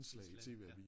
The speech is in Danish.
Indslag ja ja